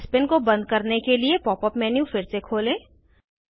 spin को बंद करने के लिए पॉप अप मेन्यू फिर से खोलें